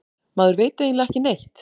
Maður veit eiginlega ekki neitt